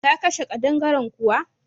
Ka kashe ƙadangaren kuwa?